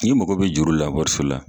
Ni mago be juru la wariso la